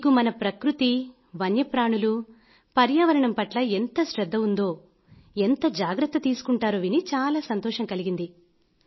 మీకు మన ప్రకృతి వన్యప్రాణులు పర్యావరణం పట్ల ఎంత శ్రద్ధ ఉందో ఎంత జాగ్రత్త తీసుకుంటారో విని చాలా సంతోషం కలిగింది